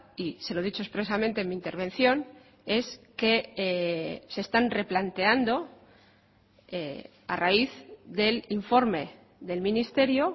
y se lo he dicho expresamente en mi intervención es que se están replanteando a raíz del informe del ministerio